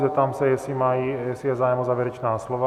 Zeptám se, jestli je zájem o závěrečná slova.